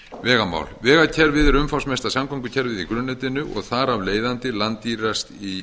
vegamál vegakerfið er umfangsmesta samgöngukerfið í grunnnetinu og þar af leiðandi langdýrast í